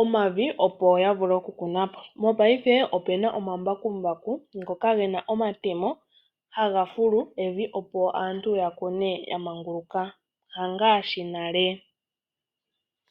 omavi opo yavule okukunapo. Mopaife opuna omambakumbaku ngoka gena omatemo haga fulu omavi, opo aantu yakune yamanguluka hangaashi nale.